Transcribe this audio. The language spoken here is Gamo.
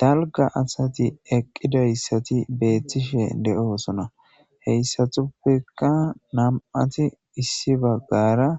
Dalga adti eaqidaysi beetish deosona heysi heysatuppekka nam'ati issibagara